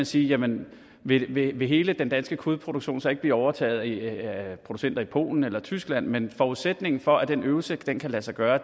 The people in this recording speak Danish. sige jamen vil vil hele den danske kødproduktion så ikke blive overtaget af producenter i polen eller tyskland men forudsætningen for at den øvelse kan lade sig gøre